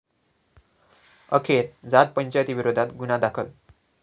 अखेर जात पंचायतीविरोधात गुन्हा दाखल